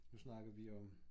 Nu snakkede vi om